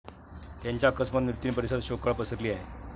त्याच्या अकस्मात मृत्यूने परिसरात शोककळा पसरली आहे.